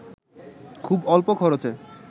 খুব অল্প খরচে